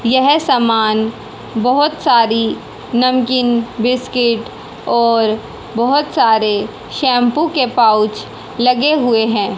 यह सामान बहुत सारी नमकीन बिस्किट और बहुत सारे शैंपू के पाउच लगे हुए हैं।